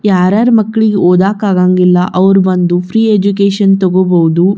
ಯಾರ ಯಾರ ಮಕ್ಕಳಿಗೆ ಓದಾಕ್ ಆಗಂಗಿಲ್ಲಾ ಅವ್ರು ಬಂದು ಫ್ರೀ ಎಜುಕೇಶನ್ ತೋಗೊಬಹುದು.